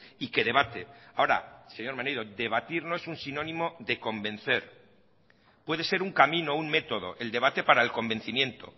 y que debate ahora señor maneiro debatir no es un sinónimo de convencer puede ser un camino un método el debate para el convencimiento